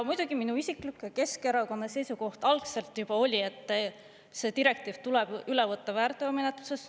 Muidugi, minu isiklik ja Keskerakonna seisukoht algselt juba oli, et see direktiiv tuleb üle võtta väärteomenetluses.